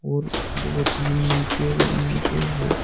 और दो तीन नीचे ओ नीचे है।